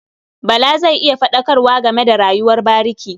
Bala zai yi faɗakarwa game da rayuwar bariki.